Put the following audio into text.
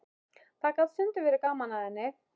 Það gat stundum verið gaman að henni.